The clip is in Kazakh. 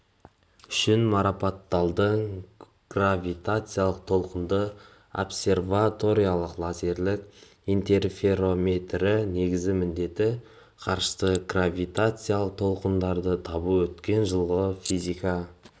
үшін марапатталды гравитациялы-толқынды обсерваторияның лазерлік интерферометрі негізгі міндеті ғарыштық гравитациялық толқындарды табу өткен жылы физика